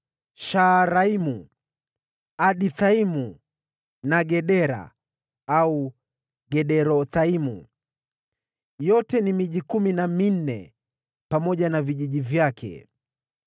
Shaaraimu, Adithaimu na Gedera (au Gederothaimu); yote ni miji kumi na minne, pamoja na vijiji vyake.